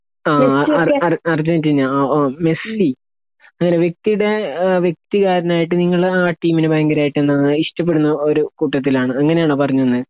ആ അർ അർ അർജന്റീന ആ ഒ മെസ്സി അങ്ങനെ വിക്ക്തെ ഏഹ് വെക്തികാരണായിട്ട് നിങ്ങൾ ആ ടീമിനെ ഭയങ്കരായിട്ട് എന്താ ഇഷ്ട്ടപെടുന്ന ഒരു കൂട്ടത്തിലാണ് അങ്ങനെണോ പറഞ്ഞ് വന്നേ